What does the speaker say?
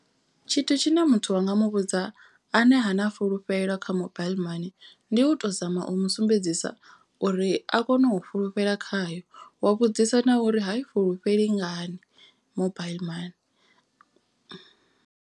Tshithu tshine muthu wanga muvhudza ane ha na fhulufhelo kha mobile mani. Ndi u to zama u musumbedzisa uri a kone u fhulufhela khayo. Wa vhudzisa na uri ha i fhulufheli ngani mobile mani.